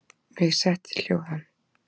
Mig setti hljóðan.